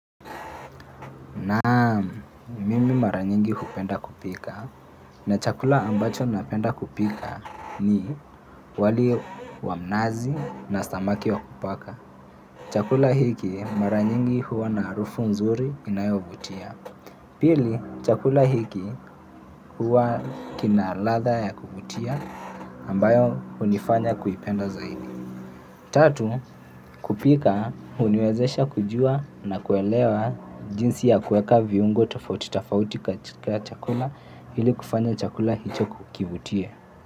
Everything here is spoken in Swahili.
Naam, mimi mara nyingi hupenda kupika na chakula ambacho napenda kupika ni wali wa mnazi na samaki wa kupaka. Chakula hiki mara nyingi huwa na harufu nzuri inayovutia. Pili, chakula hiki huwa kina ladha ya kuvutia ambayo hunifanya kuipenda zaidi. Tatu, kupika, huniwezesha kujua na kuelewa jinsi ya kueka viungo tafauti tafauti katika chakula ili kufanya chakula hicho kukivutia.